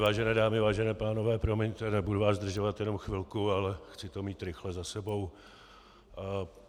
Vážené dámy, vážení pánové, promiňte, nebudu vás zdržovat, jenom chvilku, ale chci to mít rychle za sebou.